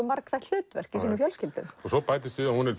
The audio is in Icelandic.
margþætt hluverk í sínum fjölskyldum svo bætist við að hún er